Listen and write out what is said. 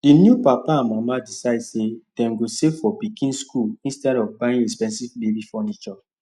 the new papa and mama decide say dem go save for pikin school instead of buy expensive baby furniture